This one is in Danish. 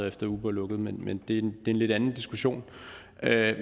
efter at uber lukkede men det er en lidt anden diskussion